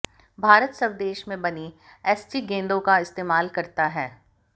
भारत स्वदेश में बनी एसजी गेंदों का इस्तेमाल करता है